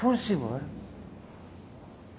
Foram-se embora.